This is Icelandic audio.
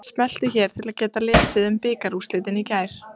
Smelltu hér til að lesa um bikarúrslitin í gær.